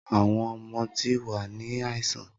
Awọn ọmọ ti wa ni aisan.